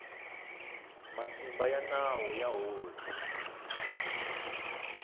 matimba ya nawu ya hosi